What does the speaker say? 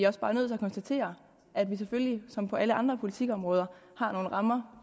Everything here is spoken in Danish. også bare nødt til at konstatere at vi selvfølgelig som på alle andre politikområder har nogle rammer